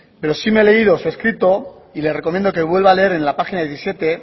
pero sí me he leído su escrito y le recomiendo que vuelva a leer en la página diecisiete